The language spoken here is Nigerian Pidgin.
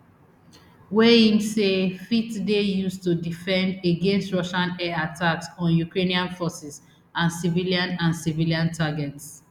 wey im say fit dey used to defend against russian air attacks on ukrainian forces and civilian and civilian targets